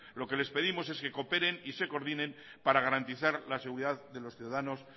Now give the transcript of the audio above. lo que les pedimos es que cooperen y se coordinen para garantizar la seguridad de los ciudadanos